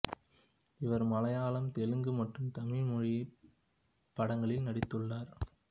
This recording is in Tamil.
இவர் மலையாளம் தெலுங்கு மற்றும் தமிழ் மொழிப் படங்களில் நடித்துள்ளார்